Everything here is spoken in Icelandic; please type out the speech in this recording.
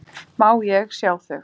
Má ég sjá þau?